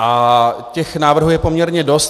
A těch návrhů je poměrně dost.